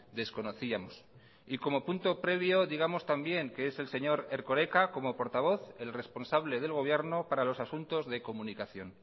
desconocíamos y como punto previo digamos también que es el señor erkoreka como portavoz el responsable del gobierno para los asuntos de comunicación